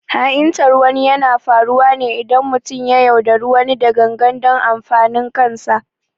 Ha’intar wani yana faruwa ne idan mutum ya yaudari wani da gangan don amfanin kansa